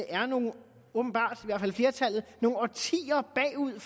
åbenbart er nogle årtier bagud i